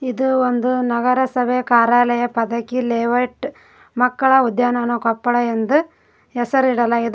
ಇದು ಒಂದು ನಗರಸಭೆ ಕಾರ್ಯಾಲಯ ಪದಕಿ ಲೇಔಟ್ ಮಕ್ಕಳ ಉದ್ಯಾನವನ ಕೊಪ್ಪಳ ಎಂದು ಹೆಸರಿಡಲಾಗಿದೆ.